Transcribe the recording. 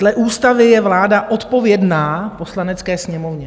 Dle ústavy je vláda odpovědná Poslanecké sněmovně.